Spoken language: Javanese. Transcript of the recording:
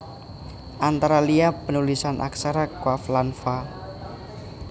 Antara liya panulisan aksara qaf lan fa